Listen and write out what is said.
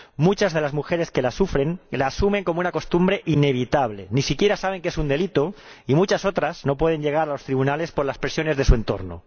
Muchas de las mujeres que la sufren la asumen como una costumbre inevitable —ni siquiera saben que es un delito— y muchas otras no pueden llegar a los tribunales por las presiones de su entorno.